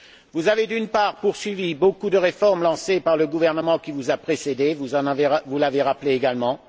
Vous avez, d'une part, poursuivi beaucoup de réformes lancées par le gouvernement qui vous a précédé vous l'avez rappelé également.